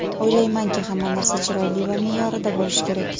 O‘ylaymanki, hamma narsa chiroyli va me’yorida bo‘lishi kerak.